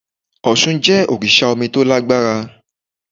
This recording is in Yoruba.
Òsun jẹ́ òrìsà omi to lágbára